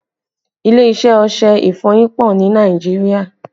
Ilé iṣẹ́ ọṣẹ ìfọyín pọ ni Nàìjíríà